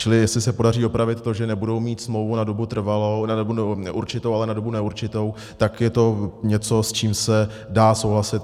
Čili jestli se podaří opravit to, že nebudou mít smlouvu na dobu určitou, ale na dobu neurčitou, tak je to něco, s čím se dá souhlasit.